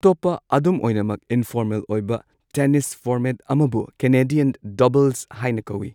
ꯑꯇꯣꯞꯄ, ꯑꯗꯨꯝ ꯑꯣꯏꯅꯃꯛ ꯏꯅꯐꯣꯔꯃꯦꯜ ꯑꯣꯏꯕ, ꯇꯦꯅꯤꯁ ꯐꯣꯔꯃꯦꯠ ꯑꯃꯕꯨ ꯀꯦꯅꯥꯗꯤꯌꯟ ꯗꯕꯜꯁ ꯍꯥꯏꯅ ꯀꯧꯋꯤ꯫